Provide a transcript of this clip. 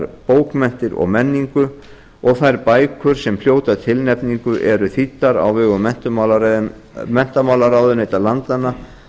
bókmenntir og menningu og þær bækur sem hljóta tilnefningu eru þýddar á vegum menntamálaráðuneyta landanna